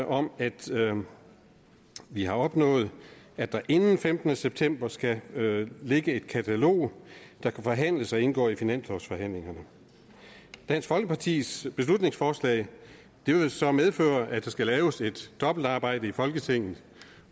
om at vi har opnået at der inden den femtende september skal ligge et katalog der kan forhandles og indgår i finanslovsforhandlingerne dansk folkepartis beslutningsforslag vil jo så medføre at der skal laves et dobbeltarbejde i folketinget